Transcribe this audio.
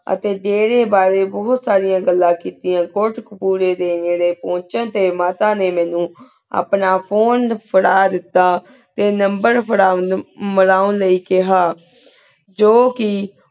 ਅਤੀ ਜੇਰੀ ਬਰੀ ਬੁਹਤ ਸਰੇਯਨ ਘਾਲਾਂ ਕੇਤੇਯਾਂ ਕੁਤ੍ਹਕ ਪੁਰੀ ਡੀ ਨਿਰੀ ਪੁਛਣ ਟੀ ਮਾਤਾ ਨੀ ਮੀਨੁ ਆਪਣਾ phone ਫੇਰਾ ਦੇਤਾ ਟੀ number ਫੇਰੁਣ ਮਿਲਉਂ ਲੈ ਕੇਹਾ ਜੋ ਕੀ